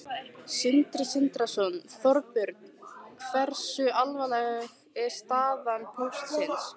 Sindri Sindrason: Þorbjörn, hversu alvarleg er staða Póstsins?